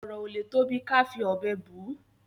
ọrọ ọ lè tóbi ká fí òbé bù